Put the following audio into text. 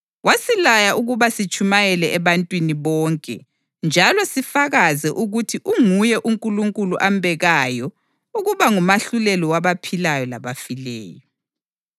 Wasilaya ukuba sitshumayele ebantwini bonke njalo sifakaze ukuthi unguye uNkulunkulu ambekayo ukuba ngumahluleli wabaphilayo labafileyo.